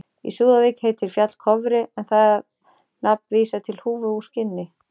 Í Súðavík heitir fjall Kofri en það nafn vísar til húfu úr skinni.